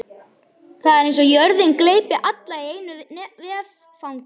Það er eins og jörðin gleypi alla í einu vetfangi.